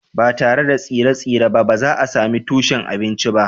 Ba tare da tsire-tsire ba, ba za a sami tushen abinci ba